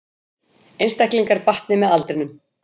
Einstaklingar batni með aldrinum